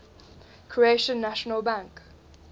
croatian national bank